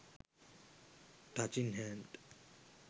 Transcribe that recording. touching hand